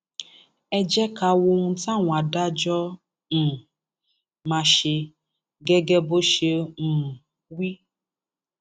ẹ jẹ ká wo ohun táwọn adájọ um máa ṣe gẹgẹ bó ṣe um wí